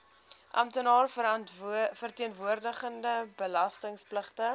amptenaar verteenwoordigende belastingpligtige